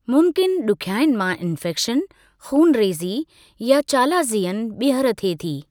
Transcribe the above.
मुमकिनु ॾुखियाईनि मां इन्फ़ेक्शन, ख़ूनरेज़ी या चालाज़ियन ॿीहर थिए थी।